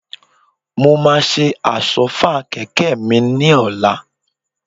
Mo máa ṣe Àsọ́fà kẹ̀kẹ́ mi ni ọ̀la